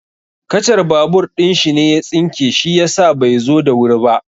Kacar babur ɗin shi ne ya tsinke shi yasa bai zo da wuri ba.